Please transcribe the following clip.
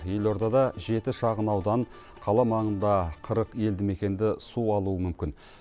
елордада жеті шағын аудан қала маңында қырық елді мекенді су алуы мүмкін